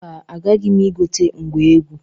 Mba, agaghị m igote ngwa egwu.